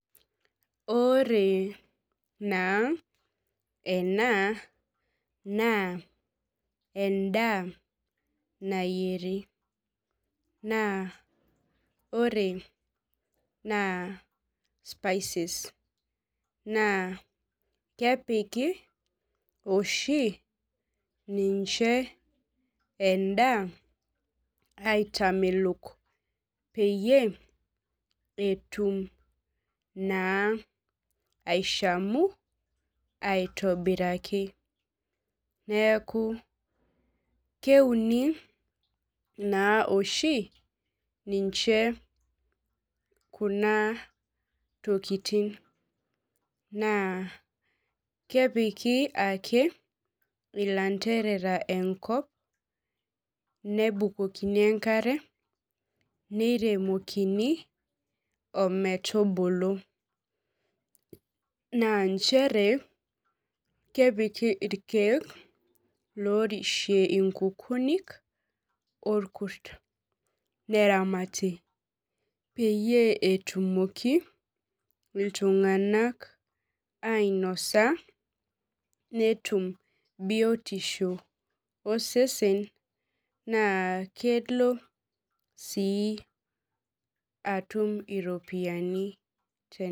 Ore naa ena naa endaa nayieri naa ore naa spices naakepiki oshi ninche endaa aitamelok peyie etum naa aishamu aitobiraki neaku keuni naa oshi ninche kuna tokitin naa kepiki ake ilanterera enkop nabukokoni enkare neiremokini ometubulu naa nchere kepiki ilkeek loorishie ikukunik olkurt neramati peyie etumoki iltung'anak ainosa netum biotisho osesen naa kelo sii atum iropiyiani